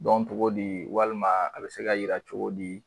dɔn cogo di walima a bɛ se ka yira cogo di.